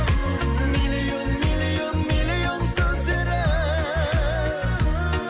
миллион миллион миллион сөздері